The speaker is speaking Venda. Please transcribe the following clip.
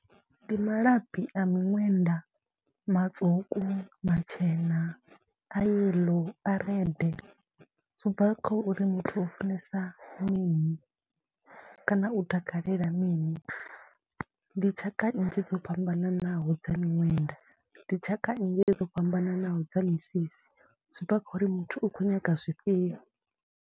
Ndi malabi a miṅwenda matswuku, matshena, a yellow, a red, zwi bva kha uri muthu u funesa mini kana u takalela mini. Ndi tshaka nnzhi dzo fhambananaho dza miṅwenda, ndi tshaka nnzhi dzo fhambananaho dza misisi, zwi bva kha uri muthu u khou nyaga zwifhio.